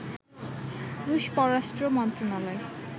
রুশ পররাষ্ট্র মন্ত্রণালয়